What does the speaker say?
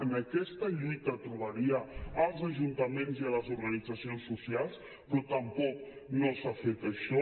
en aquesta lluita trobaria els ajuntaments i les organitzacions socials però tampoc no s’ha fet això